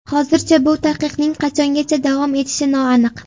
Hozircha bu taqiqning qachongacha davom etishi noaniq.